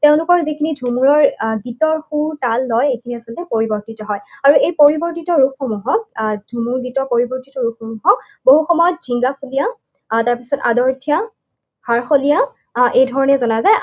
তেওঁলোকৰ যিখিনি ঝুমুৰৰ গীতৰ সুৰ, তাল, লয়, সেইখিনি আচলতে পৰিৱৰ্তিত হয়। আৰু এই পৰিৱৰ্তিত ৰূপসমূহক, আহ ঝুমুৰ গীতৰ পৰিৱৰ্তিত ৰূপসমূহক বহুসময়ত জিংগাফলীয়া আহ তাৰপিছত আদৰথীয়া সাৰফলীয়া এই ধৰণে জনা যায়।